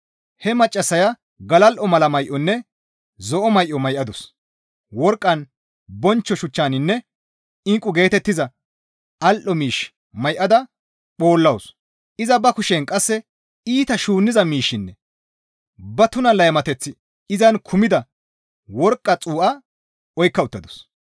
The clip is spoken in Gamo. He maccassaya galal7o mala may7onne zo7o may7o may7adus; worqqan, bonchcho shuchchaninne inqqu geetettiza al7o miish may7ada phoollawus; iza ba kushen qasse iita shuunniza miishshinne ba tuna laymateththi izan kumida worqqa xuu7a oykka uttadus.